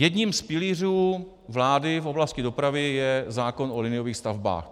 Jedním z pilířů vlády v oblasti dopravy je zákon o liniových stavbách.